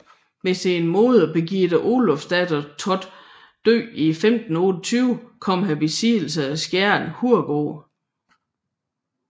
Ved sin moder Birgitte Olufsdatter Thotts død 1528 kom han i besiddelse af Skjern Hovedgård